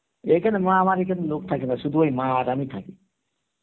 এখানে মা আমার এখানে লোক থাকে না, সুধু মা আর আমি থাকি